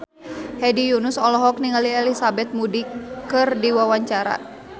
Hedi Yunus olohok ningali Elizabeth Moody keur diwawancara